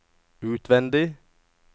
utvendig